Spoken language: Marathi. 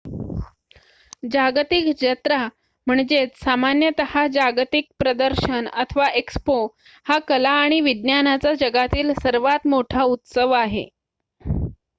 जागतिक जत्रा सामान्यत: जागतिक प्रदर्शन अथवा एक्स्पो हा कला आणि विज्ञानाचा जगातील मोठा उत्सव आहे